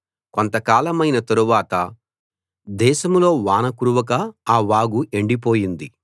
కొంతకాలమైన తరువాత దేశంలో వాన కురవక ఆ వాగు ఎండిపోయింది